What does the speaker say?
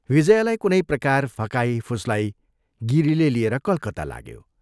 विजयालाई कुनै प्रकार फकाई, फुस्लाई गिरीले लिएर कलकत्ता लाग्यो।